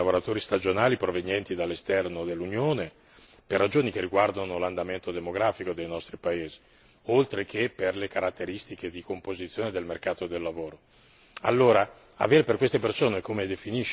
Noi avremo bisogno di una quota crescente di lavoratori stagionali provenienti dall'esterno dell'Unione per ragioni che riguardano l'andamento demografico dei nostri paesi, oltre che per le caratteristiche di composizione del mercato del lavoro.